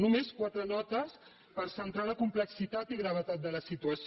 només quatre notes per centrar la complexitat i gravetat de la situació